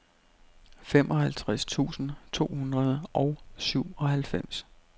femoghalvtreds tusind to hundrede og syvoghalvfems